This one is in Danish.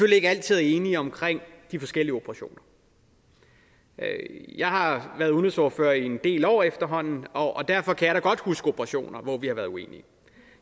ikke altid er enige omkring de forskellige operationer jeg har været udenrigsordfører i en del år efterhånden og derfor kan jeg da godt huske operationer hvor vi har været uenige